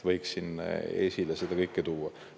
Võiksin seda kõike esile tuua.